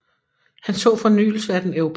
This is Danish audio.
Han så fornyelse af den europæiske ånd i Wagners musik